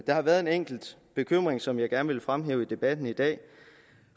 har været en enkelt bekymring som jeg gerne vil fremhæve i debatten i dag